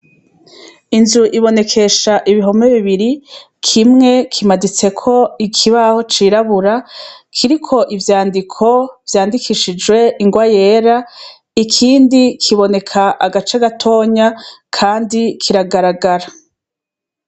Inzu ibonekesha ibihome bibiri kimwe kimaditseko ikibaho cirabura kiriko ivyandiko vyandikishijwe ingwa yera ikindi kiboneka agace agatonya, kandi kiragaragara.